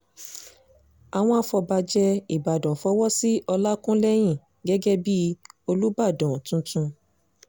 àwọn afọbajẹ ìbàdàn fọwọ́ sí ọlákúlẹ́hìn gẹ́gẹ́ bíi olùbàdàn tuntun